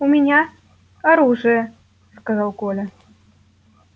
у меня оружие сказал коля